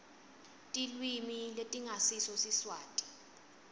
tilwimi letingasiso siswati